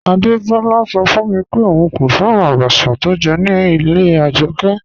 Adebọla sọ fun mi pé óún kò fẹ́ràn àbàchà tó jẹ̀ ní ilẹ̀ Ajọkẹ.